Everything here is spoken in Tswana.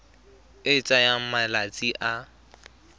e e tsayang malatsi a